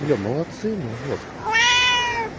бля молодцы но жёстко